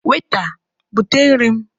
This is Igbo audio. Weta, bute nri m!